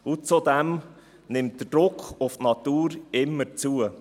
Zudem nimmt der Druck auf die Natur immer zu.